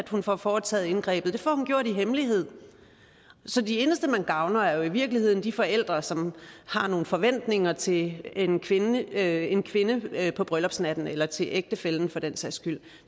hun får foretaget indgrebet det får hun gjort i hemmelighed så de eneste man gavner er jo i virkeligheden de forældre som har nogle forventninger til en kvinde en kvinde på brylllupsnatten eller til ægtefællen for den sags skyld